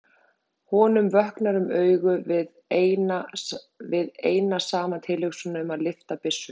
Honum vöknar um augu við eina saman tilhugsunina um að lyfta byssu.